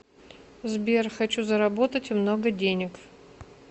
сбер хочу заработать много денег